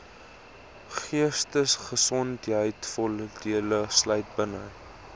geestesgesondheidvoordeel sluit buite